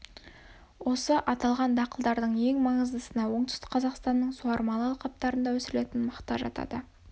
осы аталған дақылдардың ең маңыздысына оңтүстік қазақстанның суармалы алқаптарында өсірілетін мақта жатады